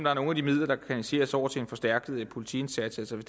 er nogle af de midler der kan kanaliseres over i en forstærket politiindsats altså hvis